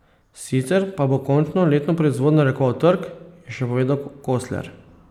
Sicer pa bo končno letno proizvodnjo narekoval trg, je še povedal Kosler.